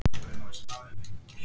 Blessuð sé minning Bensa.